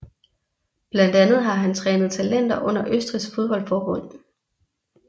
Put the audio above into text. Blandt andet har han trænet talenter under Østrigs fodboldforbund